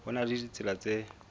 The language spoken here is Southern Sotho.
ho na le ditsela tse